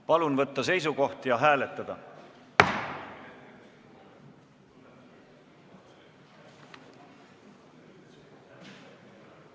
Palun võtta seisukoht ja hääletada!